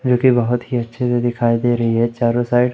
जो कि बहोत ही अच्छे से दिखाई दे रही है चारों साइड --